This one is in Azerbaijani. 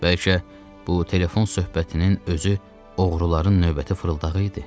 Bəlkə bu telefon söhbətinin özü oğruların növbəti fırıldağı idi.